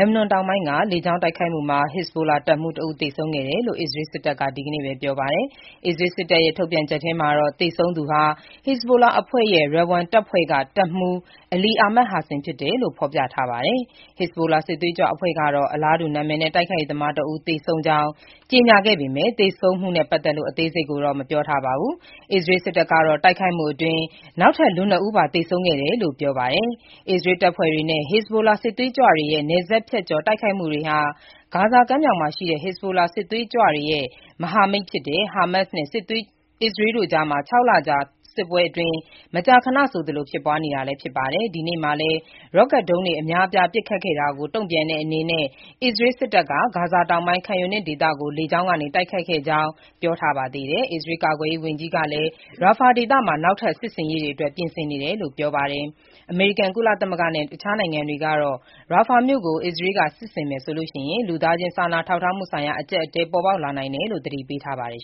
က်ဘနွန်တောင်ပိုင်းက လေကြောင်းတိုက်ခိုက်မှုမှာ အစ္စရေးမြောက်ပိုင်းကို ပစ်မှတ်ထားပြီး တိုက်ခိုက်ခဲ့တဲ့ ဟစ်ဇ်ဘိုလာ တပ်မှူးတဦး သေဆုံးခဲ့တယ်လို့ အစ္စရေးစစ်တပ်က ဒီနေ့ပဲ ပြောပါတယ်။ အစ္စရေးစစ်တပ်ရဲ့ ထုတ်ပြန်ချက်ထဲမှာတော့ သေဆုံးသူဟာ ဟစ်ဇ်ဘိုလာအဖွဲ့ရဲ့ Radwan တပ်ဖွဲ့က တပ်မှူး Ali Ahmad Hassin ဖြစ်တယ်လို့ ဖော်ပြထားပါတယ်။ ဟစ်ဇ်ဘိုလာစစ်သွေးကြွအဖွဲ့ကတော့ အလားတူ နာမည်နဲ့ တိုက်ခိုက်ရေးသမားတဦး သေဆုံးကြောင်း ကြေညာခဲ့ပေမဲ့ သေဆုံးမှုနဲ့ ပတ်သက်လို့ အသေးစိတ်ကိုတော့ မပြောပါဘူး။ အစ္စရေးစစ်တပ်ကတော့ တိုက်ခိုက်မှုအတွင်း နောက်ထပ် လူနှစ်ဦးပါ သေဆုံးခဲ့တယ်လို့ပြောပါတယ်။ အစ္စရေး တပ်ဖွဲ့တွေနဲ့ ဟစ်ဇ်ဘိုလာ စစ်သွေးကြွတွေရဲ့ နယ်စပ်ဖြတ်ကျော် တိုက်ခိုက်မှုတွေဟာ ဂါဇာကမ်းမြှောင်ရှိ ဟစ်ဇ်ဘိုလာစစ်သွေးကြွတွေရဲ့ မဟာမိတ်ဖြစ်တဲ့ ဟားမတ်စ်နဲ့ အစ္စရေးတို့ကြား ခြောက်လကြာ စစ်ပွဲအတွင်း မကြာခဏဆိုသလို ဖြစ်ပွားနေပါတယ်။ ဒီနေ့မှာပဲ ရော့ကတ်ဒုံးတွေ အများအပြား ပစ်ခတ်ခဲ့တာကို တုံ့ပြန်တဲ့အနေနဲ့ အစ္စရေးစစ်တပ်က ဂါဇာတောင်ပိုင်း Khan Younis ဒေသကို လေကြောင်းက တိုက်ခိုက်ခဲ့ကြောင်း အစ္စရေးစစ်တပ်က ပြောပါတယ်။ အစ္စရေးကာကွယ်ရေးဝန်ကြီး Yoav Gallant ကလည်း Rafah ဒေသမှာ နောက်ထပ် စစ်ဆင်ရေးတွေအတွက် ပြင်ဆင်နေတယ်လို့ ပြောပါတယ်။ အမေရိကန်၊ ကုလသမဂ္ဂနဲ့ အခြားနိုင်ငံတွေကတော့ Rafah မြို့ကို အစ္စရေးက ထိုးစစ်ဆင်မယ်ဆိုရင် လူသားချင်းစာနာထောက်ထားမှုဆိုင်ရာ အကျပ်အတည်း ပေါ်ပေါက်လာနိုင်တယ်လို့ သတိပေးထားပါတယ်